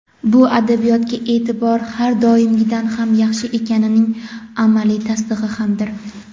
bu adabiyotga e’tibor har doimgidan ham yaxshi ekanining amaliy tasdig‘i hamdir.